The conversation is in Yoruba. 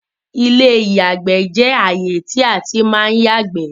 ilé ìyàgbẹ́ jẹ ààyè tí a tí má ń yàgbẹ́